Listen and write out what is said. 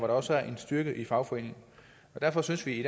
der også er en styrke i fagforeningen derfor synes vi i